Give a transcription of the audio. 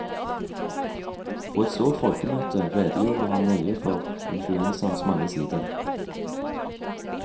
På et stort folkemøte redegjorde han nøye for influensaens mange sider.